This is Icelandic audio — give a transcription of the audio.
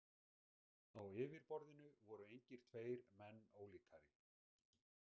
Á yfirborðinu voru engir tveir menn ólíkari.